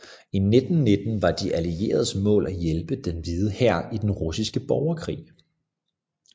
I 1919 var De Allieredes mål at hjælpe Den Hvide Hær i den russiske borgerkrig